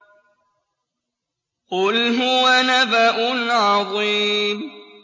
قُلْ هُوَ نَبَأٌ عَظِيمٌ